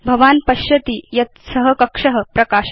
भवान् पश्यति यत् स कक्ष प्रकाशते